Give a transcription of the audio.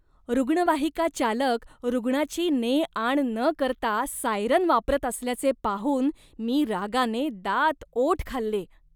रुग्णवाहिका चालक रुग्णाची ने आण न करता सायरन वापरत असल्याचे पाहून मी रागाने दातओठ खाल्ले.